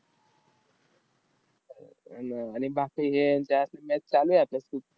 आन आणि बाकी हे आन त्या match चालू आहेत आता .